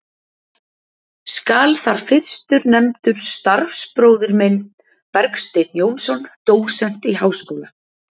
Skal þar fyrstur nefndur starfsbróðir minn, Bergsteinn Jónsson, dósent í Háskóla